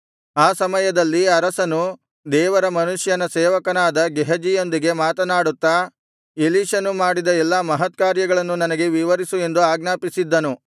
ಆ ಸಮಯದಲ್ಲಿ ಅರಸನು ದೇವರ ಮನುಷ್ಯನ ಸೇವಕನಾದ ಗೇಹಜಿಯೊಂದಿಗೆ ಮಾತನಾಡುತ್ತಾ ಎಲೀಷನು ಮಾಡಿದ ಎಲ್ಲಾ ಮಹತ್ಕಾರ್ಯಗಳನ್ನು ನನಗೆ ವಿವರಿಸು ಎಂದು ಆಜ್ಞಾಪಿಸಿದ್ದನು